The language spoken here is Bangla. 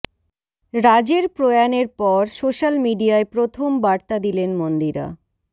রাজের প্রয়াণের পর সোশ্যাল মিডিয়ায় প্রথম বার্তা দিলেন মন্দিরা